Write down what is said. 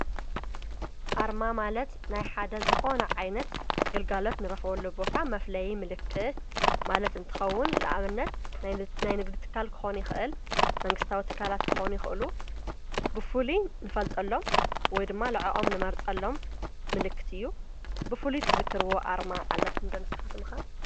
ኣርማ ማለት ናይ ሓደ ዝኾነ ዓይነት ግልጋለት ንረኽወሉ ቦታ መፍለይ ምልክት ማለት እንትኸውን ለኣብነት ናይ ንግድትካል ክኾኒ ኽእል መንግሥታዊ ትካላት ክኾኒ ኽእሉ ብፉል ንፈልጠሎም ወይ ድማ ለዓኦም ንመርጸሎም ምልክት እዩ። ብፉሉ ትዝክርዎ ኣርማ ኣለኩም ደንስኻ ትምካ?